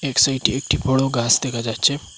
সাইটে একটি বড় গাস দেকা যাচ্চে।